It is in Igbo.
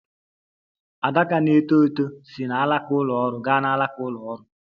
Adaka na - eto eto si n'alaka ụlọ ọrụ gaa n'alaka ụlọ ọrụ.